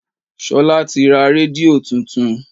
Ṣolá ti ra rédíò tuntun.